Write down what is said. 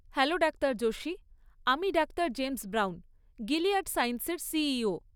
Hello doctor Joshi, আমি doctor James Brown, Gilead সায়েন্সের CEO.